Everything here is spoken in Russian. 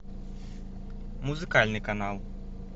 музыкальный канал